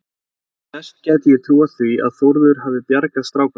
Best gæti ég trúað því að Þórður hefði bjargað stráknum.